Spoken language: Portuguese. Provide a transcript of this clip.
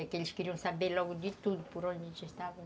É que eles queriam saber logo de tudo por onde a gente estava.